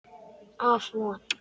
Af Von